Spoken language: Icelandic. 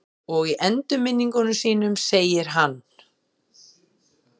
Og í endurminningum sínum segir hann